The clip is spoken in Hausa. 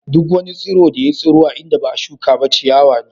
Duk wani tsiro da ya tsiro a inda ba'a shuka shi ba ciyawa ne.